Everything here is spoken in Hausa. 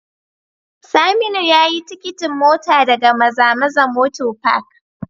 Saminu yayi tikitin mota daga mazamaza motor Park